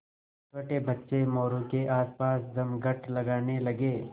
छोटे बच्चे मोरू के आसपास जमघट लगाने लगे